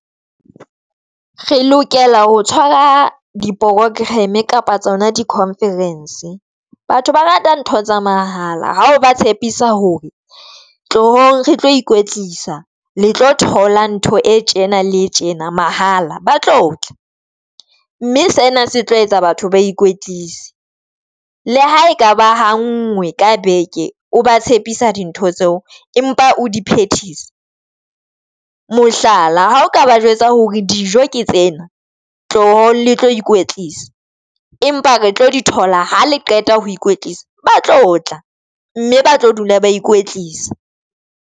Re lokela ho tshwara di-program kapa tsona di-conference. Batho ba rata ntho tsa mahala hao ba tshepisa hore tlohong re tlo ikwetlisa le tlo thola ntho e tjena le tjena mahala ba tlo tla, mme sena se tlo etsa batho ba ikwetlise le ha e ka ba ha nngwe ka beke o ba tshepisa dintho tseo empa o di phethisa. Mohlala ha o ka ba jwetsa hore dijo ke tsena tlo le tlo ikwetlisa empa re tlo di thola ha le qeta ho ikwetlisa ba tlo tla mme ba tlo dula ba ikwetlisa.